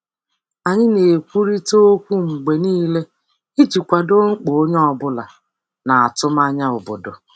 Anyị na-ekwurịta okwu mgbe niile iji kwado mkpa onye ọ bụla na atụmanya obodo.